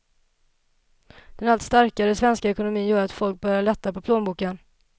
Den allt starkare svenska ekonomin gör att folk börjar lätta på plånboken.